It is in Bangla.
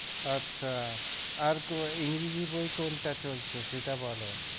আচ্ছা আর english বই কোনটা চলছে সেটা বল